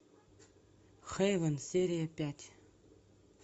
хевэн серия пять